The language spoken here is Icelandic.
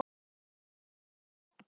Pabbi Gumma!